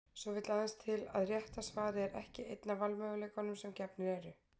Svo vill aðeins til að rétta svarið er ekki einn af valmöguleikunum sem gefnir eru.